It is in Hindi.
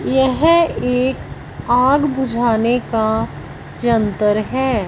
यह एक आग बुझाने का यंत्र है।